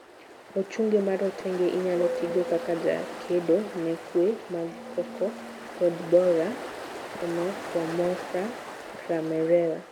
ochunge marotenge, inyalo tigo kaka jakedo ne kue mag cocoa pod borer (onopomorpha cramerella)